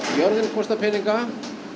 jörðin kostar peninga